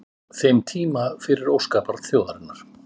þeim tíma fyrir óskabarn þjóðarinnar?